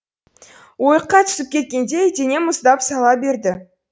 ойыққа түсіп кеткендей денем мұздап сала берді